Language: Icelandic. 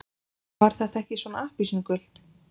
Var þetta ekki svona appelsínugult?